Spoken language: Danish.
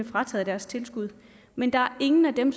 frataget deres tilskud men der er ingen af dem